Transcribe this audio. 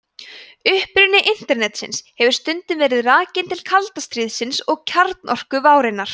uppruni internetsins hefur stundum verið rakinn til kalda stríðsins og kjarnorkuvárinnar